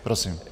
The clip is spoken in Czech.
Prosím.